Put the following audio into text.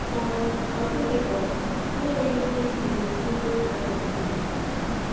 um Ọ dịghị um onye nwere ike ibibi mkpụrụ obi na-adịghị ebibi.